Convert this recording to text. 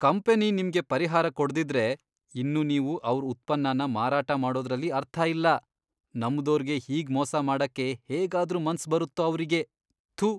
Company ನಿಮ್ಗೆ ಪರಿಹಾರ ಕೊಡ್ದಿದ್ರೆ, ಇನ್ನು ನೀವು ಅವ್ರ್ ಉತ್ಪನ್ನನ ಮಾರಾಟ ಮಾಡೋದ್ರಲ್ಲಿ ಅರ್ಥ ಇಲ್ಲ, ನಂಬ್ದೋರ್ಗೆ ಹೀಗ್ ಮೋಸ ಮಾಡಕ್ಕೆ ಹೇಗಾದ್ರೂ ಮನ್ಸ್ ಬರತ್ತೋ ಅವ್ರಿಗೆ, ಥು.